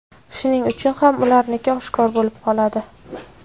Shuning uchun ham ularniki oshkor bo‘lib qoladi.